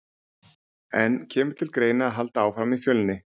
En kemur til greina að halda áfram í Fjölni?